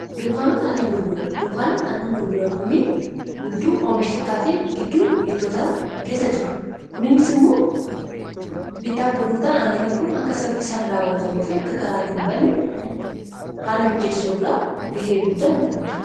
Dunkaanot annan gurguran dunkaanoon annan gurguran kunniin gidduu oomishatotaa fi gidduu biittoota keessa jiru kuniinis immoo bittaaf gurgurtaan annanni kun akka saffiisaan raawatamuufi akka karaattii hin bane haala mijeessuu irraa gahee guddaa ni taphatu.